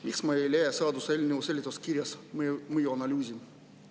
Miks me ei leia seaduseelnõu seletuskirjast mõjuanalüüsi?